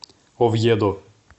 овьедо